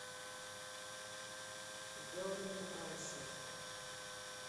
берн ашер